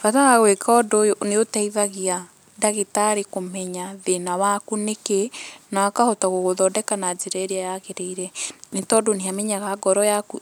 Bata wa gwĩka ũndũ ũyũ nĩ ũteithagia ndagĩtarĩ kũmenya thĩna waku nĩkĩ, na akahota gũgũthondeka na njĩra ĩrĩa yagĩrĩire, nĩ tondũ nĩ amenyaga ngoro yaku